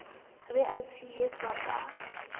e be e tshehetswe ka